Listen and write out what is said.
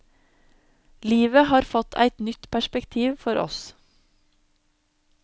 Livet har fått eit nytt perspektiv for oss.